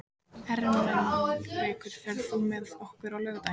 Ermenrekur, ferð þú með okkur á laugardaginn?